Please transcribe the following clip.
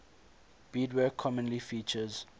beadwork commonly features